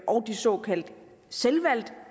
og de såkaldt selvvalgte